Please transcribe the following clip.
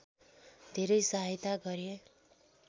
धेरै सहायता गरे